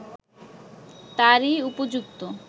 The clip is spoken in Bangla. তারই উপযুক্ত